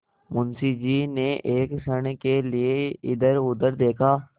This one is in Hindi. मुंशी जी ने एक क्षण के लिए इधरउधर देखा